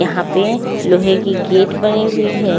यहा पे लोहे की गेट बनी हुई है।